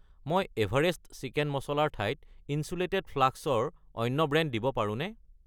মই Everest chicken masala ৰ ঠাইত ইন্‌চুলেটেড ফ্লাস্ক ৰ অন্য ব্ৰেণ্ড দিব পাৰোঁনে?